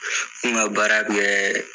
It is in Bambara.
n ka baara bɛɛ